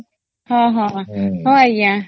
ହଁ ହଁ ହଁ ଆଂଜ୍ଞା